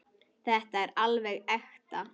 Þetta er alveg ekta.